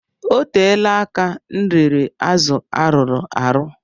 O teela aka m riri azụ arụrụ arụ.